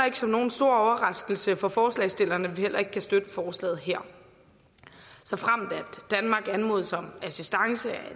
ikke som nogen stor overraskelse for forslagsstillerne at vi heller ikke kan støtte forslaget her såfremt danmark anmodes om assistance af